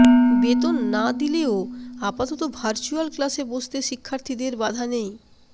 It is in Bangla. বেতন না দিলেও আপাতত ভার্চুয়াল ক্লাসে বসতে শিক্ষার্থীদের বাধা নেই